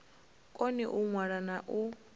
koni u ṅwala na u